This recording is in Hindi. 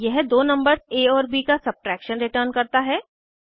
यह दो नंबर्स आ और ब का सबट्रैक्शन रिटर्न करता है